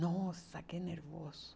Nossa, que nervoso.